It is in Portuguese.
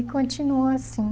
E continuou assim.